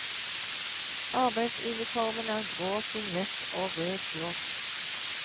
Arbeidsuniformen er grå singlett og rød shorts.